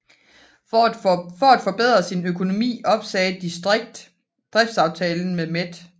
For at forbedre sin økonomi opsagde District driftsaftalen med Met